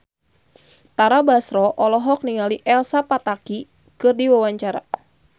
Tara Basro olohok ningali Elsa Pataky keur diwawancara